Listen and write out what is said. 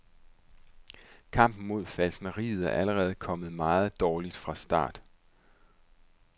Kampen mod falskneriet er allerede kommet meget dårligt fra start.